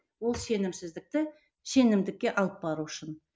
ол сенімсіздікті сенімдікке алып бару үшін